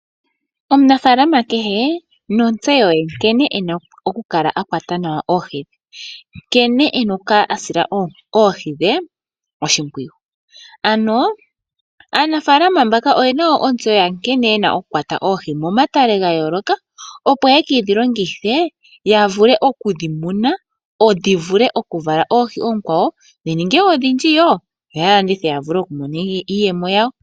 Omunafalama kehe nontseyo ye nkene ena oku kwata nawa oohi, nkene ena oku sila oohi dhe oshipwiyu. Aanafalama oyena wo ontsewo nkene yena okukwata oohi momatale gayooloka opo yekedhilongithe ya vule okudhi muna, dhi vule oku vala oohi oonkwawo ndhininge odhindji yoye dhilandithe ya mone mo iiyemo yawo.